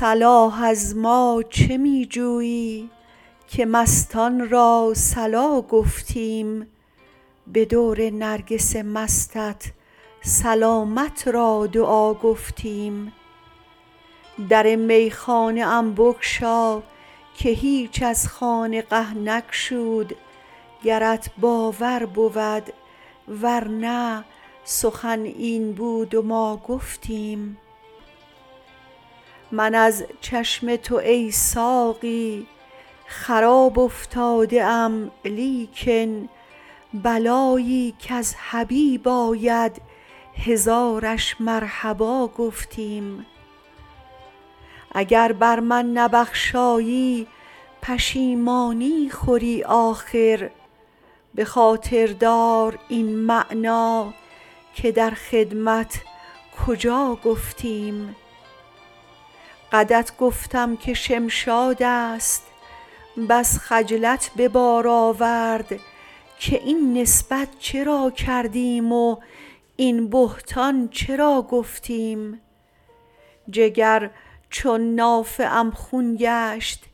صلاح از ما چه می جویی که مستان را صلا گفتیم به دور نرگس مستت سلامت را دعا گفتیم در میخانه ام بگشا که هیچ از خانقه نگشود گرت باور بود ور نه سخن این بود و ما گفتیم من از چشم تو ای ساقی خراب افتاده ام لیکن بلایی کز حبیب آید هزارش مرحبا گفتیم اگر بر من نبخشایی پشیمانی خوری آخر به خاطر دار این معنی که در خدمت کجا گفتیم قدت گفتم که شمشاد است بس خجلت به بار آورد که این نسبت چرا کردیم و این بهتان چرا گفتیم جگر چون نافه ام خون گشت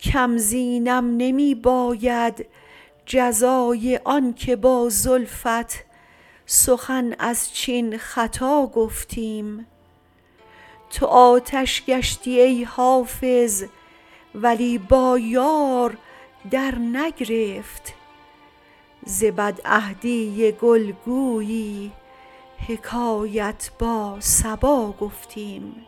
کم زینم نمی باید جزای آن که با زلفت سخن از چین خطا گفتیم تو آتش گشتی ای حافظ ولی با یار درنگرفت ز بدعهدی گل گویی حکایت با صبا گفتیم